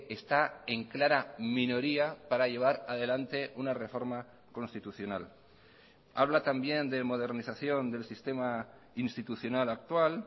está en clara minoría para llevar adelante una reforma constitucional habla también de modernización del sistema institucional actual